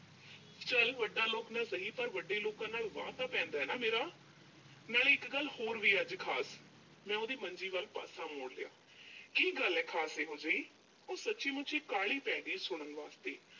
ਚੱਲ ਵੱਡਾ ਲੋਕ ਨਾ ਸਹੀ ਪਰ ਵੱਡੇ ਲੋਕਾਂ ਨਾਲ ਵਾਹ ਤਾਂ ਪੈਂਦਾ ਨਾ ਮੇਰਾ। ਨਾਲ਼ੇ ਇੱਕ ਗੱਲ ਹੋਰ ਵੀ ਆ ਅੱਜ ਖਾਸ ਮੈਂ ਉਹਦੀ ਮੰਜੀ ਵੱਲ ਪਾਸਾ ਮੋੜ ਲਿਆ। ਕੀ ਗੱਲ ਆ ਖ਼ਾਸ ਇਹੋ ਜਿਹੀ? ਉਹ ਸੱਚੀ ਮੁੱਚੀ ਕਾਹਲੀ ਪੈ ਗਈ ਸੁਣਨ ਵਾਸਤੇ।